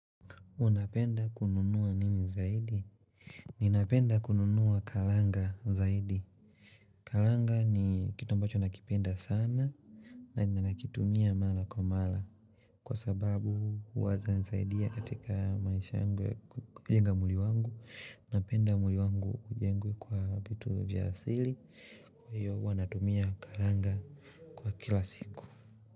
Unapenda kununua nini zaidi Ninapenda kununua kalanga zaidi Kalanga ni kitu ambacho nakipenda sana na ninakitumia mara kwa mara Kwa sababu huwa za nisaidia katika maisha angwe kujenga mwili wangu napenda mwili wangu ujengwe kwa vitu vya asili Kwa hiyo huwa natumia kalanga Kwa kila siku.